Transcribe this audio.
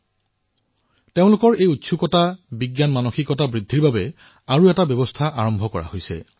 শিশু যুৱচামৰ এই উৎসাহ বৃদ্ধিৰ বাবে তেওঁলোকৰ মনত বিজ্ঞানৰ প্ৰতি ধাউতি বৃদ্ধি কৰিবলৈ আৰু এক নতুন ব্যৱস্থাৰ সূচনা কৰা হৈছে